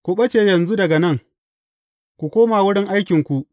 Ku ɓace yanzu daga nan, ku koma wurin aikinku.